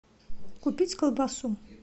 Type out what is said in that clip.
купить колбасу